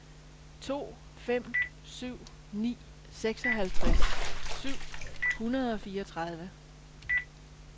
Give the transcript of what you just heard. to fem syv ni seksoghalvtreds syv hundrede og fireogtredive